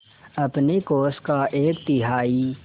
अपने कोष का एक तिहाई